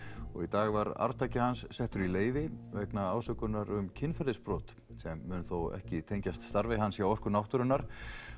og í dag var arftaki hans settur í leyfi vegna um kynferðisbrot sem mun þó ekki tengjast starfi hans hjá Orku náttúrunnar